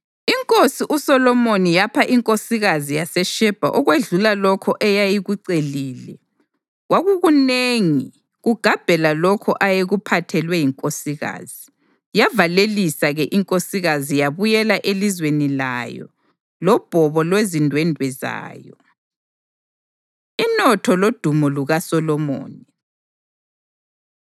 Inkosi uSolomoni yapha inkosikazi yaseShebha okwedlula lokho eyayikucelile, kwakukunengi kugabhela lokho ayekuphathelwe yinkosikazi. Yavalelisa-ke inkosikazi yabuyela elizweni layo lobhobo lwezindwendwe zayo. Inotho Lodumo LukaSolomoni